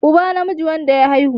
uba namiji wanda ya haihu